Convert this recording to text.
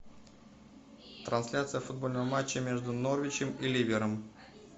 трансляция футбольного матча между норвичем и ливером